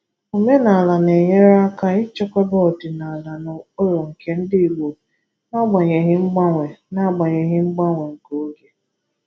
Omenala na-enyere aka ichekwaba ọdịnala na ụkpụrụ nke ndi Igbo n’agbanyeghi mgbanwe n’agbanyeghi mgbanwe nke oge.